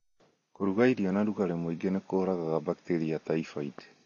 Kũruga irio na rũgari mũingĩ nĩ kũũragaga bakteria ya typhoid.